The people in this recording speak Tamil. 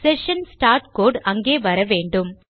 செஷன் ஸ்டார்ட் கோடு அங்கே வர வேண்டும்